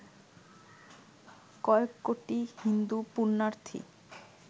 কয়েক কোটি হিন্দু পুণ্যার্থী